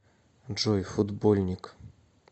джой футбольник